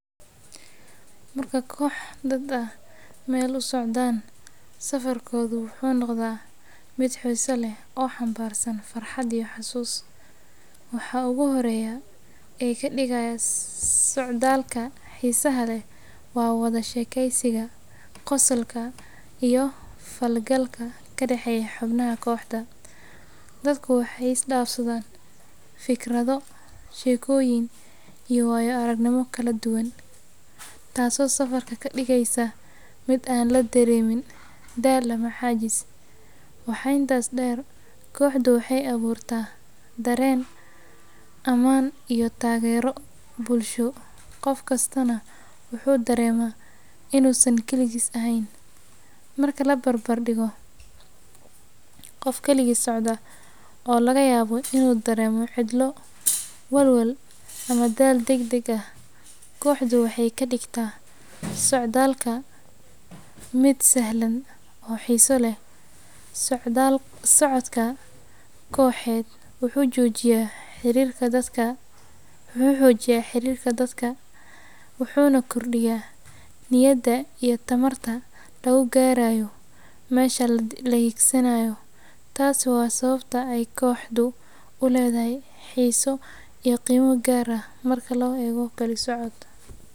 Marka koox dad ah meel u socdaan, safarkoodu wuxuu noqdaa mid xiiso leh oo xambaarsan farxad iyo xusuus. Waxa ugu horreeya ee ka dhigaya socdaalka xiisaha leh waa wada sheekaysiga, qosolka, iyo la falgalka ka dhexeeya xubnaha kooxda. Dadku waxay isdhaafsadaan fikrado, sheekooyin iyo waayo-aragnimooyin kala duwan, taasoo safarka ka dhigaysa mid aan la dareemin daal ama caajis. Waxaa intaas dheer, kooxdu waxay abuurtaa dareen ammaan iyo taageero bulsho, qof kastana wuu dareemaa inuusan kaligiis ahayn. Marka la barbar dhigo qof kaligiis socda, oo laga yaabo inuu dareemo cidlo, walwal ama daal degdeg ah, kooxdu waxay ka dhigtaa socdaalka mid sahlan oo xiiso leh. Socodka kooxeed wuxuu xoojiyaa xiriirka dadka, wuxuuna kordhiyaa niyadda iyo tamarta lagu gaarayo meesha la hiigsanayo. Taasi waa sababta ay kooxdu u leedahay xiiso iyo qiimo gaar ah marka loo eego kalisocod.